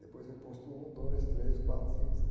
Depois vem posto um, dois, três, quatro, cinco, seis.